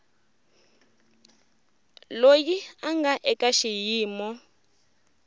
loyi a nga eka xiyimo